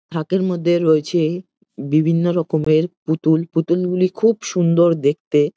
থাকের মধ্যে রয়েছে বিভিন্ন রকমের পুতুল। পুতুলগুলি খুব সুন্দর দেখতে ।